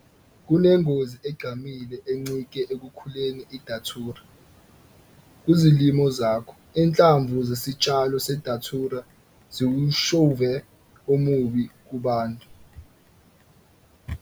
Kunengozi egqamile encike okhuleni iDatura kuzilimo zakho. Inhlamvu zesitshalo seDatura ziwushevu omubi kubantu.